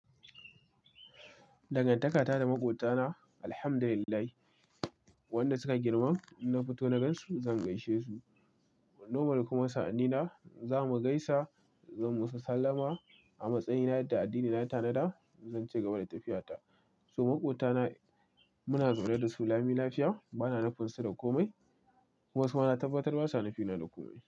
Dangantakata da maƙwabtana, alhamdulillah, wanda suka girman in na fito na gan su zan gaishe su. Nomal kuma sa'anni na za mu gaisa, zan mu su sallama a matsayina yadda addini ya ta na da zan cigaba da tafiyata. So maƙwabtana muna zaune da su lami lafiya bana nufin su da komai kuma su ma na tabbatar ba sa nufina da komai.